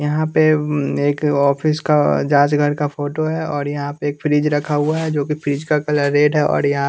यहाँ पे एक ऑफिस का जांच घर का फोटो है और यहाँ पे एक फ्रिज रखा हुआ है जो कि फ्रिज का कलर रेड है और या --